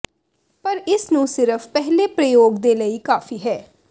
ਪਰ ਇਸ ਨੂੰ ਸਿਰਫ ਪਹਿਲੇ ਪ੍ਰਯੋਗ ਦੇ ਲਈ ਕਾਫ਼ੀ ਹੈ